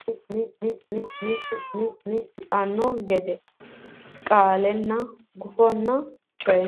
gufonna coy fooliishsho Loossinanni marte niwaawete giddonni Aleenni la nummo lawishshi garinni aante qarriweelo afidhanno gede kaa linsa gufonna coy.